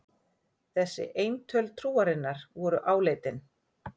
Þessi eintöl trúarinnar voru áleitin.